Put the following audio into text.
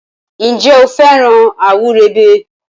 Ǹjẹ́ o fẹ́ràn àwúrèbe?